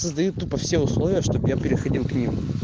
создают тупо все условия чтобы я приходил к ним